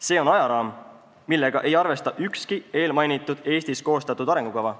See on ajaraam, millega ei arvesta ükski eelmainitud Eestis koostatud arengukava.